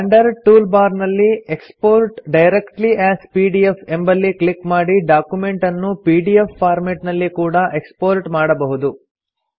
standard tool bar ನಲ್ಲಿ export directly as PDF ಎಂಬಲ್ಲಿ click ಮಾಡಿ ಡಾಕ್ಯುಮೆಂಟ್ ಅನ್ನು ಪಿಡಿಎಫ್ ಫಾರ್ಮೆಟ್ ನಲ್ಲಿ ಕೂಡಾ ಎಕ್ಸ್ಪೋರ್ಟ್ ಮಾಡಬಹುದು